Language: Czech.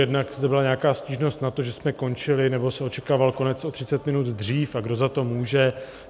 Jednak zde byla nějaká stížnost na to, že jsme končili, nebo se očekával konec o 30 minut dřív, a kdo za to může.